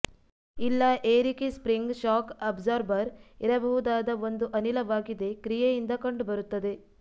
ಇಲ್ಲ ಏರಿಕೆ spring shock absorber ಇರಬಹುದಾದ ಒಂದು ಅನಿಲವಾಗಿದೆ ಕ್ರಿಯೆಯಿಂದ ಕಂಡುಬರುತ್ತದೆ